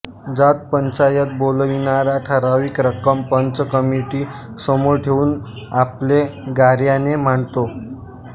जात पंचायत बोलाविणारा ठराविक रक्कम पंच कमिटी समोर ठेऊन आपले गाऱ्हाणे मांडतो